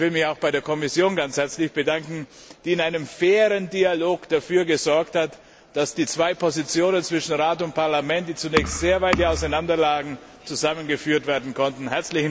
Aber ich will mich auch bei der Kommission ganz herzlich bedanken, die in einem fairen Dialog dafür gesorgt hat, dass die zwei Positionen zwischen Rat und Parlament, die zunächst sehr weit auseinander lagen, zusammengeführt werden konnten.